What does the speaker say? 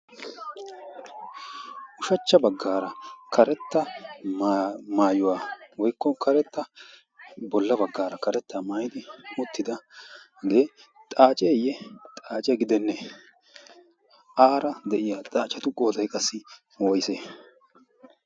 ushachcha baggaara karetta maayuwaa woykko karetta bolla baggaara karetta maayidi uttida agee xaaceeyye xaace gidenne aara de'iya xaachatu gootay qassi ootite?